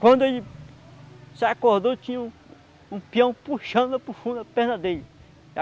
Quando ele se acordou, tinha um um peão puxando para o fundo a perna dele.